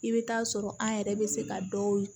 I bɛ taa sɔrɔ an yɛrɛ bɛ se ka dɔw ye